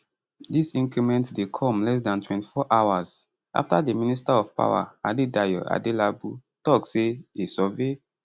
dis increment dey come less dan 24 hours afta di minister of power adedayo adelabu tok say a survey